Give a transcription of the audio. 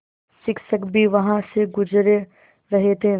शिक्षक भी वहाँ से गुज़र रहे थे